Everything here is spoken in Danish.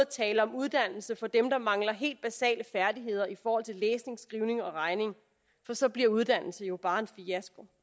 tale om uddannelse for dem der mangler helt basale færdigheder i forhold til læsning skrivning og regning for så bliver uddannelse jo bare en fiasko